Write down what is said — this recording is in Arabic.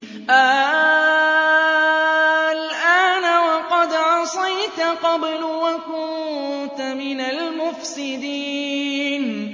آلْآنَ وَقَدْ عَصَيْتَ قَبْلُ وَكُنتَ مِنَ الْمُفْسِدِينَ